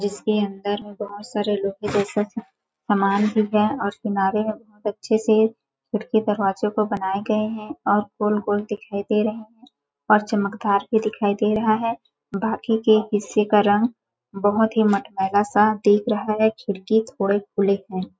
जिसके अंदर बहुत सारे लोहे जैसा सामान भी है और किनारे में बहुत अच्छे से खिड़की दरवाजे को बनाए गए है और गोल-गोल दिखाई दे रहे है और चमकदार भी दिखाई दे रहा है बाकी के हिस्से का रंग बहुत ही मटमैला सा देख रहा है खिड़की थोड़े खुले है।